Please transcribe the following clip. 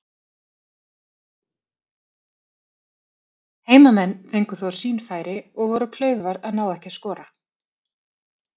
Heimamenn fengu þó sín færi og voru klaufar að ná ekki að skora.